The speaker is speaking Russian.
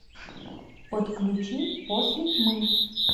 подключи после тьмы